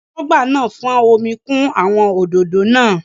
Aṣọ́gbà náà fọ́n omi kún àwọn òdòdó náà.